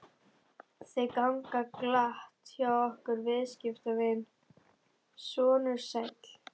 Þau ganga glatt hjá okkur viðskiptin, sonur sæll.